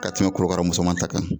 Ka tɛmɛ korokaramusoma ta kan.